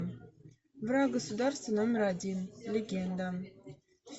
враг государства номер один легенда